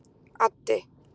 Addi